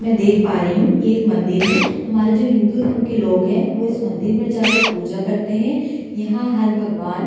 मैं देख पा रही हूं ये एक मंदिर है हमारे जों हिंदू धर्म के जो लोग हैं इस मंदिर में जाकर पूजा करते हैं। यहाँ हर भगवान --